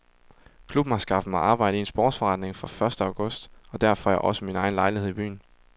Klubben har skaffet mig arbejde i en sportsforretning fra første august og der får jeg også min egen lejlighed i byen.